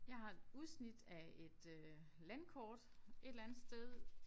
Jeg har et udsnit af et øh landkort et eller andet sted